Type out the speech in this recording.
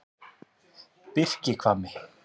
Birkihvammi